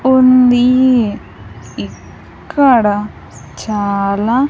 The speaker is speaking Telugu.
ఉందీ ఇక్కడ చాలా.